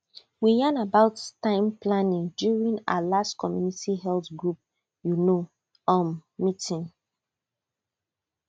we yan about time planning during our last community health group you know um meeting